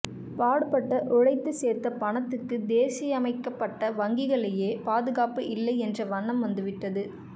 பாடுபட்ட உழைத்து சேர்த்த பணத்துக்கு தேசியமயமாக்கப்பட்ட வங்கிகளிலேயே பாதுகாப்பு இல்லை என்ற எண்ணம் வந்துவிட்டது